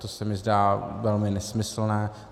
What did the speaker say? To se mi zdá velmi nesmyslné.